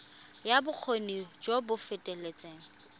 ya bokgoni jo bo feteletseng